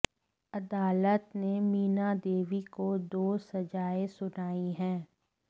अदालत ने मीना देवी को दो सजाएं सुनाई हैं